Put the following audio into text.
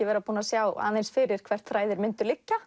vera búin að sjá fyrir hvert þræðir myndu liggja